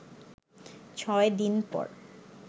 ছয় দিন পর